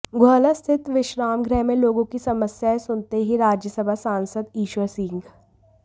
गुहला स्थित विश्राम गृह में लोगों की समस्याएं सुनते हुए राज्य सभा सांसद ईश्वर सिंह